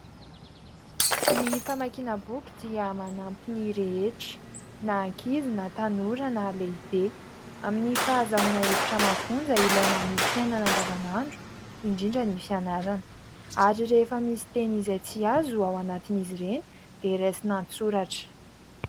Ny famakiana boky dia manampy ny rehetra na ankizy na tanora na lehibe ; amin'ny fahazoana hevitra mafonja ilaina amin'ny fiainana andavanandro indrindra ny fianarana ary rehefa misy teny izay tsy azo ao anatiny izy ireny dia raisina an-tsoratra.